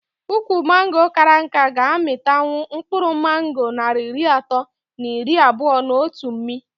Ukwu mango kara nká ga -amịtanwu mkpụrụ mango narị iri atọ na iri abụo n'otu mmị